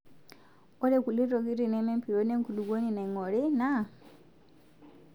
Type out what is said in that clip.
Ore kulie tokitin neme empiron enkulukuoni naingori naa;